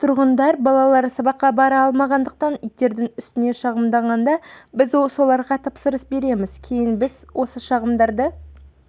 тұрғындар балалары сабаққа бара алмағандықтан иттердің үстінен шағымданғанда біз соларға тапсырыс береміз кейін біз осы шағымдарды